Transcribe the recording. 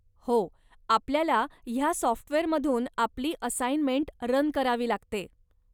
हो, आपल्याला ह्या सॉफ्टवेअरमधून आपली असाइनमेंट रन करावी लागते.